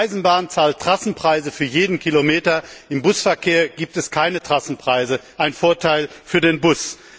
Die Eisenbahn zahlt Trassenpreise für jeden Kilometer, im Busverkehr gibt es keine Trassenpreise ein Vorteil für den Bus.